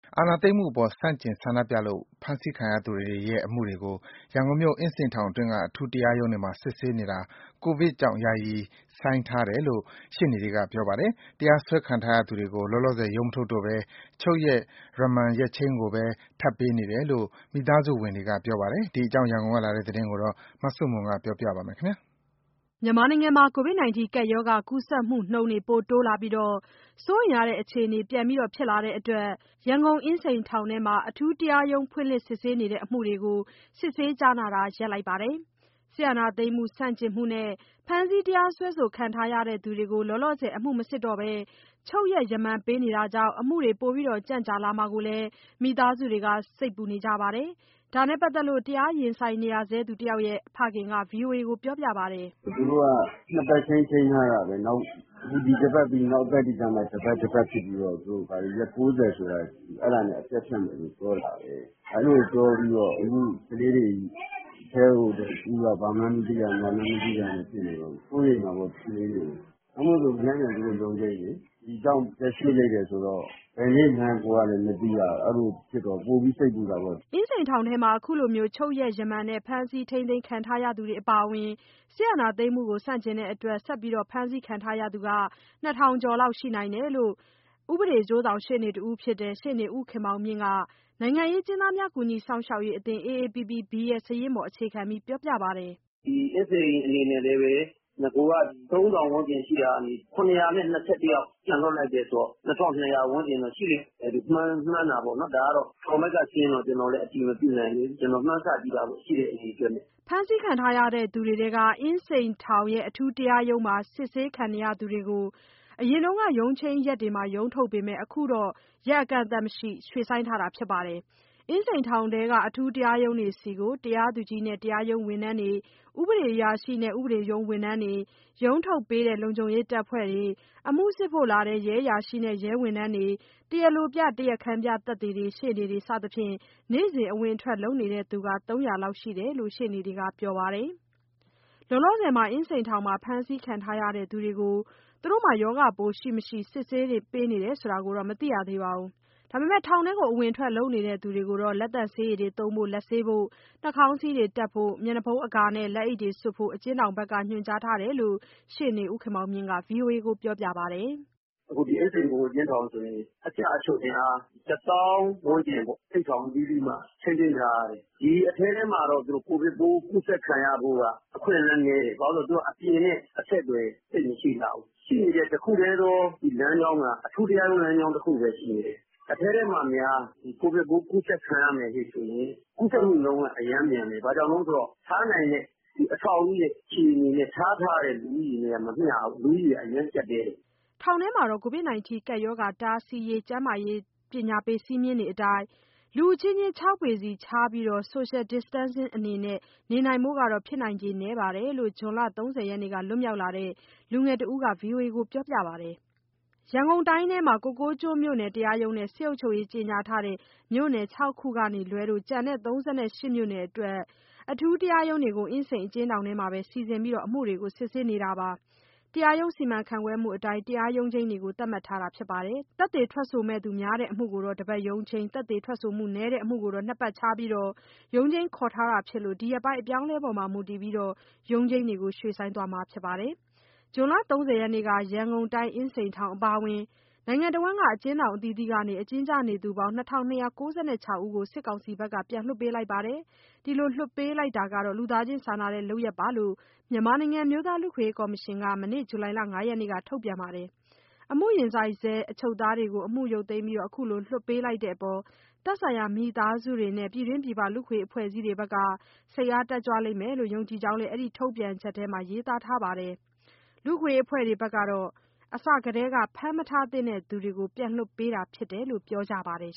အာဏာသိမ်းမှုအပေါ် ဆန့်ကျင်ဆန္ဒပြလို့ ဖမ်းဆီးခံရသူတွေရဲ့ အမှုတွေကို ရန်ကုန်မြို့၊ အင်းစိန်ထောင်တွင်းက အထူးတရားရုံးတွေမှာ စစ်ဆေးနေတာ ကိုဗစ်ကြောင့် ယာယီရပ်ဆိုင်းထားတယ်လို့ ရှေ့နေတွေက ပြောပါတယ်။ တရားစွဲခံထားရသူတွေကို လောလောဆယ် ရုံးမထုတ်တော့ဘဲ ချုပ်ရက် ရမန်ရက်ချိန်းကိုပဲ ထပ်ပေးနေတယ်လို့ မိသားစုဝင်တွေကပြောပါတယ်။ ဒီအကြောင်း ရန်ကုန်ကလာတဲ့သတင်း မဆုမွန် ပြောပြပါမယ်။ ကိုဗစ်ကပ်ရောဂါကူးစက်မှုနှုန်း စိုးရိမ်ရတဲ့အခြေအနေ ပြန်ဖြစ်လာတဲ့အတွက် ရန်ကုန်အင်းစိန်ထောင်ထဲမှာ အထူးတရားရုံးဖွင့်လှစ် စစ်ဆေးနေတဲ့ အမှုတွေကို စစ်ဆေးကြားနာတာကို ရပ်ထားပါတယ်။ စစ်အာဏာသိမ်းမှု ဆန့်ကျင်တဲ့အတွက် ဖမ်းဆီးတရားစွဲခံနေရသူတွေကို လောလောဆယ် အမှုမစစ်ဘဲ ချုပ်ရက် ရမန်ပေးနေတာကြောင့် အမှုတွေ ပိုကြန့်ကြာမှာကို မိသားစုတွေစိတ်ပူနေကြပါတယ်။ ဒါ နဲ့ပါတ်သက်လို့ တရားရင်ဆိုင်နေရသူတယောက်ရဲ့ ဖခင်က ဗွီအိုအေကို ခုလိုပြောပါတယ်။ “ သူတို့က နှစ်ပတ်ချိန်း ချိန်းထားတာပဲ၊ ဒီအပတ်ပြီး နောက်ပတ်တွေကျမှ တပတ်တပတ်ဖြစ်ပြီးတော့ သူတို့ရက် ၉၀ ဆိုလားအဲဒါနဲ့ အပြတ်ဖြတ်မယ်လို့ ပြောတာပဲ။ အဲဒီလိုပြောပြီးတော့ အခုကလေးတွေ အထဲကို ဦးတို့ဘာမှန်းမသိရ ညာမှန်းမသိရနဲ့ ဆိုတော့ စိုးရိမ်တာပေါ့ ကလေးတွေကို။ နောက်မို့ဆို မနက်ဖြန်သူတို့ရုံးချိန်းလေ၊ ဒီကြောင့် ရက်ရွှေ့လိုက်တယ်ဆိုတော့ ဘယ်နေ့မှန်းကိုယ်က မသိရတော့ ပိုပြီးစိတ်ပူတာပေါ့။” အင်းစိန်ထောင်မှာ ခုလိုချုပ်ရက် ရမန်နဲ့ ဖမ်းဆီးခံထားရသူတွေအပါအဝင် အာဏာသိမ်းမှုကို ဆန့်ကျင်လို့ ဆက်လက် ဖမ်းဆီးခံထားရသူ ၂ ထောင်ကျော် ရှိနိုင်တယ်လို့ အကျိုးဆောင်ရှေ့နေတယောက်ဖြစ်တဲ့ ရှေ့နေဦးခင်မောင်မြင့်က နိုင်ငံရေးအကျဉ်းသားများ ကူညီစောင့်ရှောက်ရေးအသင်း AAPPB ရဲ့ စာရင်းပေါ် အခြေခံပြီး ပြောပါတယ်။ “ဒီအင်းစိန်အနေနဲ့လည်းပဲ နဂိုက ၃၀၀၀ ဝန်းကျင်ရှိတာကနေ ၇၂၁ ယောက် ပြန်လွှတ်လိုက်တယ်ဆိုတော့ ၂၂၀၀ ဝန်းကျင် (ကျန်)ရှိလိမ့်မယ် မှန်းတာပေါ့နော်။ ဒါကတော့ ထောင်ဘက်ကစရင်းတော့ ကျနော်တို့လည်း အတည်မပြုနိုင်သေးဘူး၊ ကျနော်မှန်းဆကြည့်တာပေါ့ ရှိတဲ့အရေအတွက်နဲ့။” ဖမ်းဆီးခံရသူတွေထဲက အင်းစိန်ထောင် အထူးတရားရုံးတွေမှာ အမှုစစ်ဆေးခံနေရသူတွေကို အရင်က ရုံးချိန်းနေ့တွေမှာ ရုံးထုတ်ပေမဲ့ အခု အကန့်အသတ်မရှိ ဆိုင်းထားတာဖြစ်ပါတယ်။ အင်းစိန်ထောင်ထဲက အထူးတရားရုံးတွေဆီကို တရားသူကြီးနဲ့ တရားရုံးဝန်ထမ်းတွေ၊ ဥပဒေအရာရှိနဲ့ ဥပဒေရုံးဝန်ထမ်းတွေ၊ ရုံးထုတ်ပေးတဲ့ လုံခြုံရေးတပ်ဖွဲ့တွေ၊ အမှုစစ်ဖို့လာတဲ့ ရဲအရာရှိနဲ့ ရဲဝန်ထမ်းတွေ၊ တရားလိုပြ တရားခံပြသက်သေတွေ၊ ရှေ့နေတွေ စသဖြင့် နေ့စဉ်အဝင်အထွက် လုပ်နေသူ ၃၀၀ လောက်ရှိတယ်တယ်လို့ ရှေ့နေတွေက ပြောပါတယ်။ လောလောဆယ် အင်းစိန်ထောင်မှာ ဖမ်းဆီးခံထားရသူတွေကို ရောဂါပိုးရှိ၊ မရှိ စစ်ဆေးမှုတွေ လုပ်ပေးတယ်လို့ မကြားသိရပါဘူး။ ထောင်ထဲ ဝင်ထွက်နေသူတွေကိုတော့ လက်သန့်ဆေရည်သုံးဖို့၊ လက်ဆေးဖို့၊ နှာခေါင်းစည်းတပ်ဖို့ မျက်နှာအကာနဲ့ လက်အိတ် စွပ်ဖို့ အကျဉ်းထောင်ဘက်က ညွှန်ကြားထားတယ်လို့ ရှေ့နေဦးခင်မောင်မြင့်က ဗွီအိုအေကို ပြောပါတယ်။ “ အခုဒီအင်းစိန် ဗဟိုအကျဉ်းထောင်ဆိုရင် အကျအချုပ်အင်အား ၁၀,၀၀၀ ဝန်းကျင်ပေါ့ အိပ်ဆောင်အသီးသီးမှာ ထိန်းသိမ်းထားရတယ်။ ဒီအထဲထဲမှာတော့ ကိုဗစ်ပိုး ကူးစက်ခံရဖို့က အခွင့်အလမ်းနည်းတယ်။ ဘာလို့ဆို အပြင်နဲ့အဆက်အသွယ် သိပ်မရှိလှဘူး။ ရှိနေတဲ့ တခုတည်းသော ဒီလမ်းကြောင်းက အထူးတရားရုံး လမ်းကြောင်းတခုပဲ ရှိနေတယ်။ အထဲထဲမှာများ ကိုဗစ်ပိုးကူးစက်ခံရမယ်ဆိုရင် ကူးစက်မှုနှုန်းက အရမ်းမြန်မယ်။ ထားနိုင်တဲ့ အဆောက်အဦးရဲ့ အခြေအနေနဲ့ ထားတဲ့လူဦးရေနဲ့က မမျှဘူး၊ လူဦးရေက အရမ်းကျပ်တည်းတယ်။” ထောင်ထဲမှာ ကိုဗစ်ရောဂါတားဆီးရေး စည်းမျဉ်းတွေအတိုင်း လူအချင်းချင်း ၆ ပေကြိုဗစ်ကြောင့် အင်းစိန်အထူးတရားရုံးများကြားနာမှုယာယီရပ်ဆိုင်းထား ခြားနေရဖို့ဆိုတာ ဖြစ်နိုင်ခြေနည်းတယ်လို့ ဇွန်လ ၃၀ရက်က လွတ်မြောက်လာတဲ့ လူငယ်တဦးက ဗွီအိုအေကိုပြောပြပါတယ်။ ကိုကိုးကျွန်းမြို့နယ်တရားရုံးနဲ့ စစ်အုပ်ချုပ်ရေးကြေညာထားတဲ့ မြို့နယ် ၆ ခုကလွဲလို့ ရန်ကုန်တိုင်းထဲက ကျန်တဲ့ ၃၈ မြို့နယ်အတွက် အထူးတရားရုံးတွေကို အင်းစိန်အကျဉ်းထောင်ထဲမှာပဲ စီစဉ်ပြီး အမှုတွေ စစ်ဆေးနေပါတယ်။ တရားရုံးစီမံခန့်ခွဲမှုအတိုင်း တရားရုံးချိန်းတွေကို သတ်မှတ်ထားပြီး ဖြစ်ပါတယ်။ သက်သေများတဲ့အမှုကို တပတ်ရုံးချိန်း၊ သက်သေနည်းတဲ့အမှုကို နှစ်ပတ်ခြားပြီး ရုံးချိန်းခေါ်ထားတာဖြစ်လို့ ဒီရက်ပိုင်း အပြောင်းအလဲအပေါ် မူတည်ပြီး ရုံးချိန်းတွေကို ရွှေ့ဆိုင်းသွားမှာပါ။ ဇွန်လ ၃၀ ရက်နေ့က ရန်ကုန်အင်းစိန်ထောင်အပါအဝင် အကျဉ်းထောင်အသီးသီးမှာ အကျဉ်းကျနေသူ ၂၂၉ ၆ ယောက်ကို စစ်ကောင်စီက ပြန်လွှတ်ပေးခဲ့ပါတယ်။ ဒီလိုလွှတ်ပေးတာဟာ လူသားချင်းစာနာတဲ့လုပ်ရပ် ဖြစ်တယ်လို့ မြန်မာနိုင်ငံ အမျိုးသား လူ့အခွင့်အရေးကော်မရှင်က မနေ့က ဇူလိုင်လ ၅ ရက်မှာ ထုတ်ပြန်ထားပါတယ်။ အမှုရင်ဆိုင်ဆဲ အချုပ်သားတွေကို အမှုရုတ်သိမ်းပြီး အခုလို လွှတ်ပေးလိုက်တဲ့အပေါ် သက်ဆိုင်ရာ မိသားစုတွေနဲ့ ပြည်တွင်းပြည်ပ လူ့အခွင့်အရေး အဖွဲ့အစည်းတွေကလည်း စိတ်အား တက်ကြွလိမ့်မယ်လို့ ယုံကြည်ကြောင်း အဲဒီထုတ်ပြန်ချက်ထဲမှာ ရေးသားထားတာပါ။ လူ့အခွင့်အရေးအဖွဲ့တွေကတော့ အစထဲက ဖမ်းမထားသင့်သူတွေကို ပြန်လွှတ်ပေးတာဖြစ်တယ်လို့ ပြောကြပါတယ်